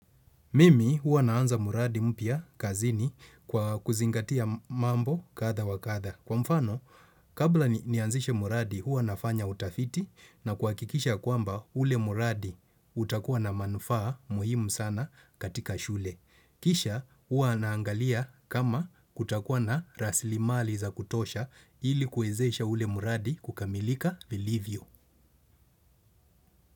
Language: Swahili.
Mimi huwa naanza mradi mpya kazini kwa kuzingatia mambo kadhaa wa kadhaa. Kwa mfano, kabla nianzishe mradi huwa nafanya utafiti na kuhakikisha kwamba ule mradi utakuwa na manufaa muhimu sana katika shule. Kisha huwa naangalia kama kutakuwa na rasilimali za kutosha ili kuwezesha ule mradi kukamilika vilivyo.